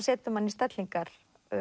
setur mann í stellingar